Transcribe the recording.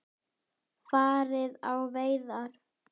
Farið á veiðar.